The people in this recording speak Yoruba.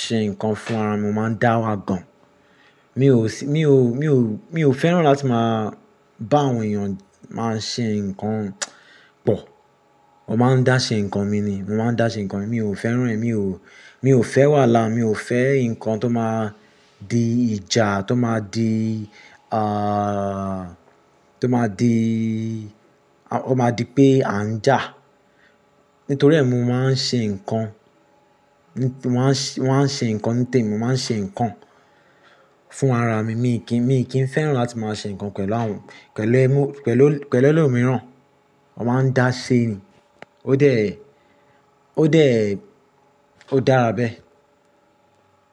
ṣe nǹkan fún ara mi, mo máa ń dá wá gan. Mi ò sí, mi ò, mi ò, mi ò fẹ́ràn láti máa bá àwọn èèyàn máa ṣe nǹkan pọ̀. Mọ́ máa ń dá ṣe nǹkan mi ni, mo máa ń dá ṣe nǹkan mi, mi ò fẹ́ràn rẹ̀, mi ò, mi ò fẹ́ wàhálà, mi ò fẹ́ nǹkan tó máa di ìjà, tó máa di ààà tó máa di, ó máa di pé a ń jà. Nítorí ẹ́, mo máa ń ṣe nǹkan, mọ́ maa n ṣe, mọ́ maa n á ṣe nǹkan nítẹ̀mi, mo máa ń ṣe nǹkan fún ara mi, mi kì í, mi kì í fẹ́ràn láti máa ṣe nǹkan pẹ̀lú àwọn, pẹ̀lú ẹ́, pẹ̀lú, pẹ̀lú ẹlòmíràn. Wọ́n máa ń dá ṣe ni. Ó dẹ̀, ó dẹ̀, ó dára bẹ́ẹ̀.